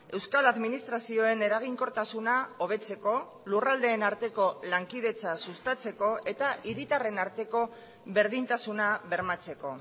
euskal administrazioen eraginkortasuna hobetzeko lurraldeen arteko lankidetza sustatzeko eta hiritarren arteko berdintasuna bermatzeko